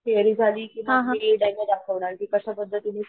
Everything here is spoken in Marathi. थेरी झाली कि मग आम्ही डेमो दाखवणार कि कश्या पद्धतींनी